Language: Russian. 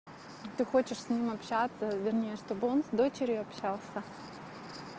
ты хочешь с ним общаться вернее чтобы он с дочерью общался